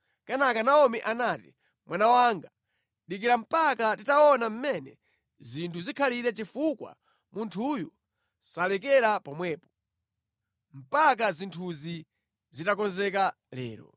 Kenaka Naomi anati, “Mwana wanga, dikira mpaka titaona mmene zinthu zikhalire chifukwa munthuyu salekera pomwepo, mpaka zinthuzi zitakonzeka lero.”